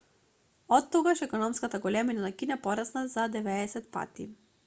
оттогаш економската големина на кина порасна за 90 пати